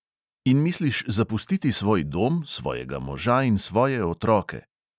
In misliš zapustiti svoj dom, svojega moža in svoje otroke!